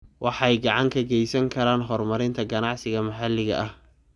Waxay gacan ka geysan karaan horumarinta ganacsiyada maxalliga ah.